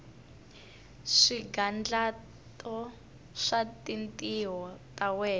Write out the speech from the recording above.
swigandlato swa tintiho ta wena